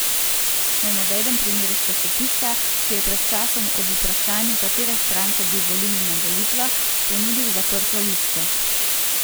Naj navedem primer iz časopisa, ki je pred časom ob vprašanju, katere stranke bi volili na volitvah, ponudil zaprto listo.